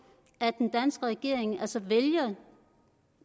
at den danske regering altså vælger